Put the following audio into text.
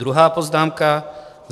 Druhá poznámka.